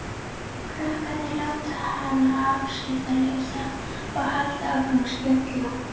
Krakkarnir láta hana afskiptalausa og halda áfram að spjalla.